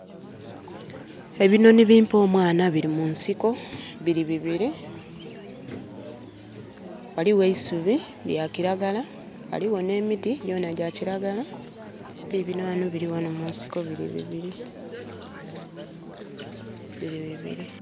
Ebinhonhi bi Mpa Omwana bili munsiko, bili bibili. Ghaligho eisubi lya kiragala. Ghaligho n'emiti gyona gya kiragala. Bibino ghano bili ghano mu nsiko, bili bibili. Bili bibili.